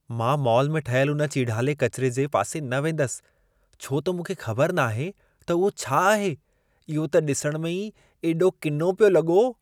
मां मॉल में ठहियल हुन चीड़हाले किचिरे जे पासे न वेंदसि, छो त मूंखे ख़बरु नाहे त उहो छा आहे। इहो त ॾिसण में ई एॾो किनो पियो लॻो।